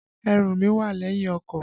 Ẹrù mí wà lẹ́yìn ọkọ̀.